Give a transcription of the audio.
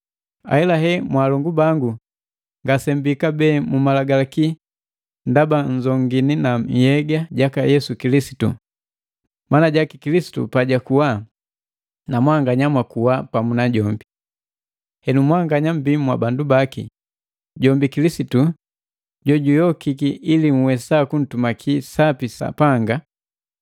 Ahelahe mwaalongu bangu ngasemmbii kabee mu Malagalaki ndaba nnzongini na nhyega jaka Yesu Kilisitu, mana jaki Kilisitu pajakuwa na mwanganya mwakuwa pamu najombi. Henu mwanganya mmbii mwabandu baki, jombi Kilisitu jojuyokiki ili nhwesa kuntumaki sapi Sapanga.